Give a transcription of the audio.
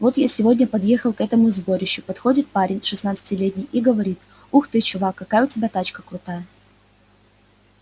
вот я сегодня подъехал к этому сборищу подходит парень шестнадцатилетний и говорит ух ты чувак какая у тебя тачка крутая